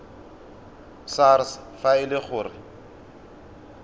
sars fa e le gore